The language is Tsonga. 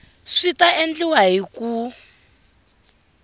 swi ta endliwa hi ku